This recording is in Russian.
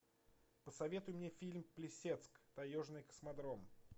посоветуй мне фильм плесецк таежный космодром